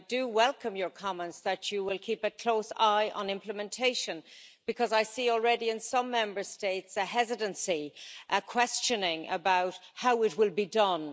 I do welcome your comments that you will keep a close eye on implementation, because I see already in some Member States a hesitancy, questioning how it will be done.